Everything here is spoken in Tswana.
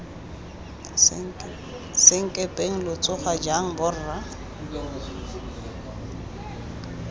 senkepeng lo tsoga jang borra